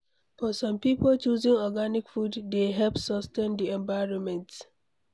For some pipo choosing organic food dey help sustain di environment